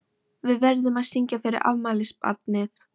Við verðum að syngja fyrir afmælisbarnið.